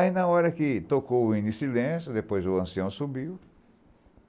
Aí, na hora que tocou o hino em silêncio, depois o ancião subiu,